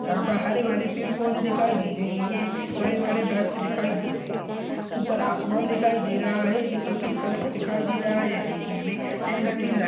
यहाँ पर हरे भरे पेड़ पौधे दिखाई दे रहे है बड़े बड़े वृक्ष दिखाई दे रहे है ऊपर आसमान दिखाई दे रहा है जो सफ़ेद कलर का दिखाई दे रहा है देखने में दिलकसी ल--